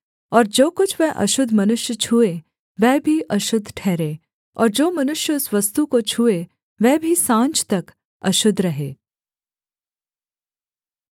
और जो कुछ वह अशुद्ध मनुष्य छूए वह भी अशुद्ध ठहरे और जो मनुष्य उस वस्तु को छूए वह भी साँझ तक अशुद्ध रहे